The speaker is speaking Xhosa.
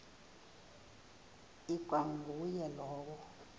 ikwa nguye lowo